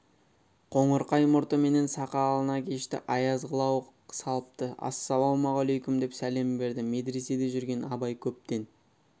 қоңырқай мұрты менен сақалына кешті аяз қылау салыпты ассалаумағалайкүм деп сәлем берді медреседе жүргенде абай көптен